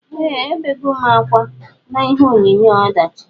Eeh ebegom akwa na ihe onyonyo ọdachi.